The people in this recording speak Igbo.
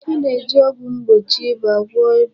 A ga-eji ọgwụ mgbochi ịba gwọọ ịba